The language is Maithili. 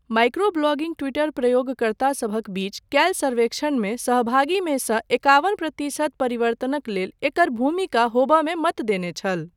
माइक्रो ब्लॉगिंग टि्वटर प्रयोगकर्तासभक बीच कयल सर्वेक्षणमे सहभागीमे सँ इक्यावन प्रतिशत परिवर्तनक लेल एकर भूमिका होमयमे मत देने छल।